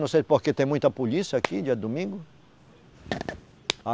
Não sei porque tem muita polícia aqui dia de domingo.